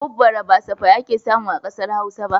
Hubbare ba safai ake samu a ƙasar Hausa ba